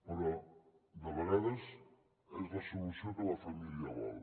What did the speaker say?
però de vegades és la solució que la família vol